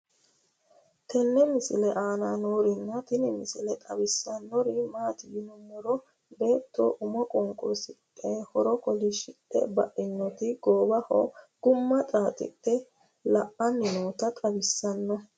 tenne misile aana noorina tini misile xawissannori maati yinummoro beetto ummo qunqurisidhe horo kolishidhe bainootti goowaho gumma xaaxidhe la'anni nootta xawissanno